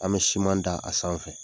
An be da a sanfɛ.